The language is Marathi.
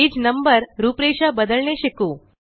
पेज नंबर रूपरेषा बदलणे शिकू